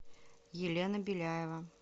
елена беляева